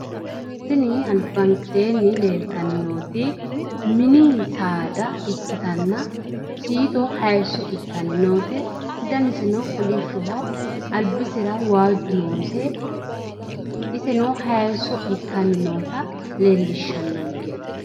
Tini albankeenni leeltanni nooti mini saada ikkitanna siito hayisso ittanni noote. Daniseno kolishshoho. Albisera waajju noose. Iseno hayisso ittanni noota leellishshannonke.